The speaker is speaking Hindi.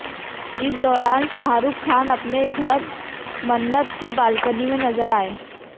इस दौरान शाहरुख खान अपने घन मन्नत की बालकनी में नजर आए